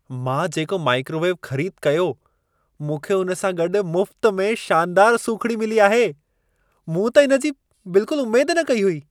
मां जेको माइक्रोवेव ख़रीद कयो, मूंखे उन सां गॾि मुफ़्त में शानदार सूखिड़ी मिली आहे। मूं त इन जी बिल्कुल उमेद न कई हुई।